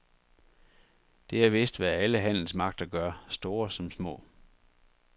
Det er vist hvad alle handelsmagter gør, store som små.